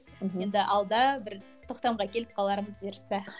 мхм енді алда бір тоқтамға келіп қалармыз бұйыртса